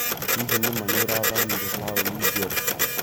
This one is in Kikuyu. Hihi nĩma nĩũrathamĩra taũnĩ njerũ?